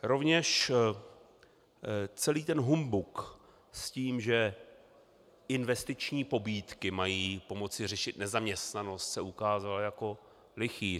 Rovněž celý ten humbuk s tím, že investiční pobídky mají pomoci řešit nezaměstnanost, se ukázal jako lichý.